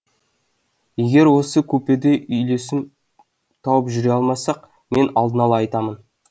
егер осы купеде үйлесім тауып жүре алмасақ мен алдын ала айтамын